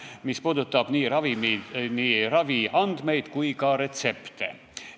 See puudutab nii raviandmeid kui ka retsepte.